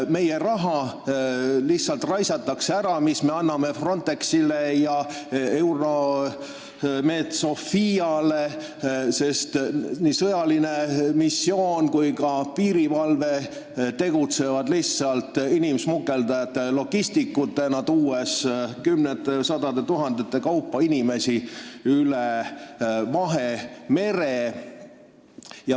Meie raha, mille me anname Frontexile ja EUNAVFOR Med/Sophiale, lihtsalt raisatakse ära, sest nii sõjaline missioon kui ka piirivalve tegutsevad lihtsalt inimsmugeldajate logistikutena, tuues kümnete ja sadade tuhandete kaupa inimesi üle Vahemere.